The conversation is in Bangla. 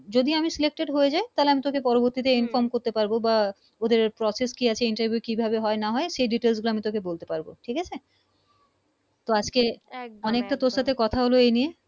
যদি আমি selected হয়ে যাই তাইলে তোকে আমি পরবর্তী তে Inform করতে পারবো বা ওদের Process কি আছে Interview কি ভাবে হয় না হয় সে Details আমি তোকে বলতে পারি ঠিক আছে। তো আজকে অনেক তো তোর সাথে কোথা হল এই নিয়ে